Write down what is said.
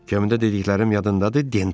Gəmidə dediklərim yadındadır, Denrop?